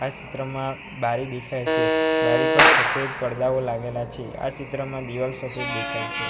આ ચિત્રમાં બારી દેખાય છે બારી પર સફેદ પડદાઓ લાગેલા છે આ ચિત્રમાં દિવાલ સફેદ દેખાય છે.